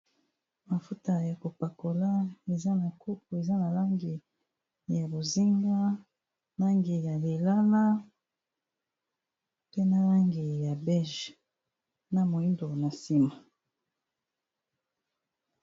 Mafuta ya kopakola eza na kopo eza na langi ya bozinga, langi ya lilala, pe na langi ya bege, na moyindo na nsima.